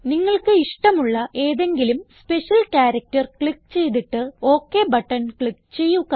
നിങ്ങൾക്ക് ഇഷ്ടമുള്ള ഏതെങ്കിലും സ്പെഷ്യൽ ക്യാരക്റ്റർ ക്ലിക്ക് ചെയ്തിട്ട് ഒക് ബട്ടൺ ക്ലിക്ക് ചെയ്യുക